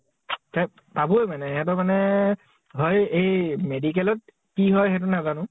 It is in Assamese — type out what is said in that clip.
তে পাবই মানে । সেহঁতৰ মানে হয় এই medical ত কি হয় সেইটো নাজানো